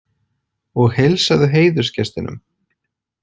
Og heilsaðu heiðursgestinum.